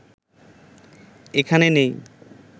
এখানে নেই